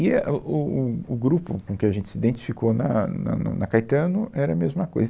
E é, o o o o grupo com que a gente se identificou na na na Caetano era a mesma coisa.